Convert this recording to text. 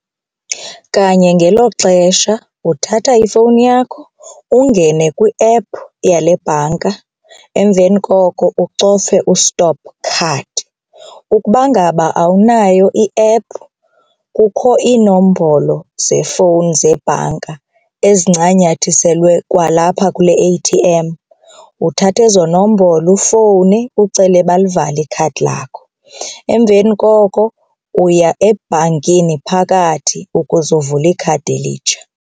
Kanye ngelo xesha uthatha ifowuni yakho ungene kwi-app yale bhanka, emveni koko ucofe u-stop card. Ukuba ngaba awunayo i-app kukho iinombolo zefowuni zebhanka ezincanyathiselwe kwalapha kule A_T_M, uthatha ezo nombolo ufowune ucele balivale ikhadi lakho. Emveni koko uya ebhankini phakathi ukuze uvule ikhadi elitsha.